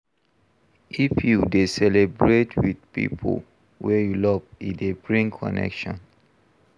If you dey celebrate with pipo wey you love e dey bring connection